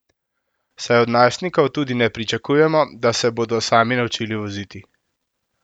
Saj od najstnikov tudi ne pričakujemo, da se bodo sami naučili voziti.